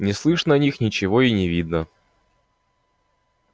не слышно о них ничего и не видно